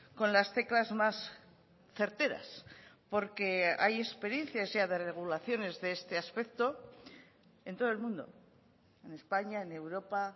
con las teclas más certeras porque hay experiencias ya de regulaciones de este aspecto en todo el mundo en españa en europa